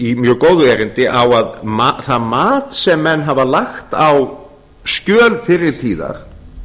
í mjög góðu erindi að það mat sem menn hafa lagt á skjöl fyrri tíðar